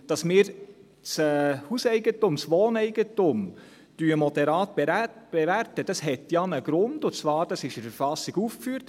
Dass wir das Hauseigentum, das Wohneigentum, moderat bewerten, hat ja einen Grund, und zwar ist dieser in der Verfassung aufgeführt;